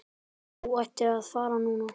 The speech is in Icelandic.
Þú ættir að fara núna.